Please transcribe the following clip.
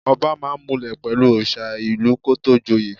Ọba máa ń múlẹ̀ pẹ̀lú òrìṣà ìlú kó tó joyè.